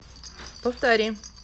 повтори